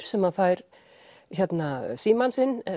sem fær símann sinn